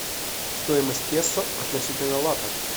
стоимость песо относительно лата